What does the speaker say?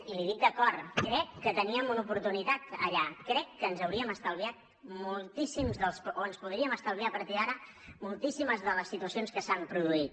i l’hi dic de cor crec que teníem una oportunitat allà crec que ens hauríem estalviat moltíssims o ens podríem estalviar a partir d’ara moltíssimes de les situacions que s’han produït